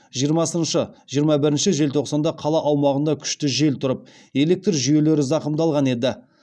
жиырмасыншы жиырма бірінші желтоқсанда қала аумағында күшті жел тұрып электр жүйелері зақымдалған еді